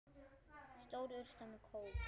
Stór urta með kóp.